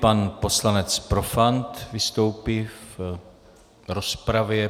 Pan poslanec Profant vystoupí v rozpravě.